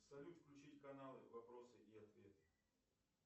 салют включить каналы вопросы и ответы